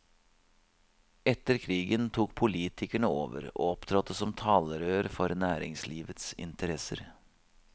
Etter krigen tok politikerene over og opptrådte som talerør for næringslivets interesser.